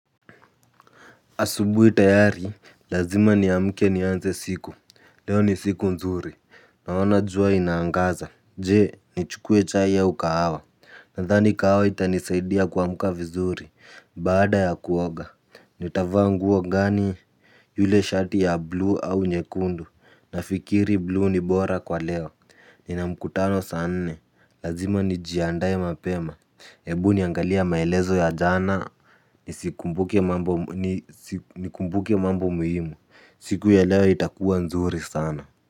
Asubui tayari. Lazima niamke nianze siku. Leo ni siku nzuri. Naona jua inaangaza. Je nichukue chai au kahawa. Nandhani kahawa itanisaidia kuamka vizuri. Baada ya kuoga nitavaa nguo ngani. Yule shati ya blue au nyekundu. Nafikiri blue ni bora kwa leo. Nina mkutano saa nne. Lazima nijiandae mapema. Ebu niangalia maelezo ya jana. Nikumbuke mambo muhimu. Siku ya leo itakuwa nzuri sana.